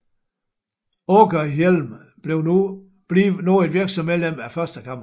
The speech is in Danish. Åkerhielm blev nu et virksomt medlem af Første Kammer